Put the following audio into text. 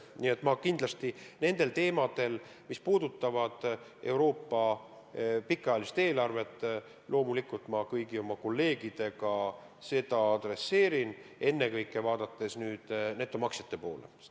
Nii et ma kindlasti nendel teemadel, mis puudutavad Euroopa pikaajalist eelarvet, loomulikult kõigi oma kolleegidega räägin, ennekõike vaadates netomaksjate poole.